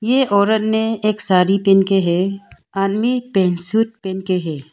ये औरत ने एक साड़ी पेनके है आदमी पैंट सूट पेनके हैं।